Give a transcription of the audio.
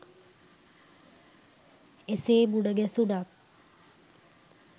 එසේ මුණගැසුණත්